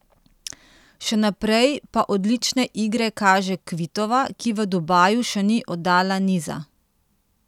Še naprej pa odlične igre kaže Kvitova, ki v Dubaju še ni oddala niza.